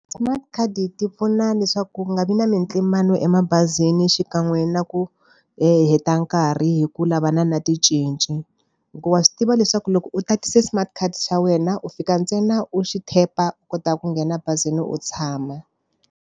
Smart card ti pfuna leswaku ku nga vi na mintlimbano wa emabazini xikan'we na ku hi heta nkarhi hi ku lavana na ticinci. Hikuva swi tiva leswaku loko u tatise smart card xa wena u fika ntsena u xi tap-a, u kota ku nghena bazini u tshama.